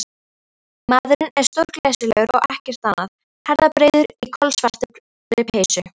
Maðurinn er stórglæsilegur og ekkert annað, herðabreiður í kolsvartri peysu.